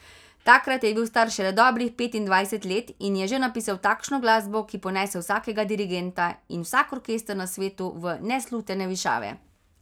Takrat je bil star šele dobrih petindvajset let in je že napisal takšno glasbo, ki ponese vsakega dirigenta in vsak orkester na svetu v neslutene višave.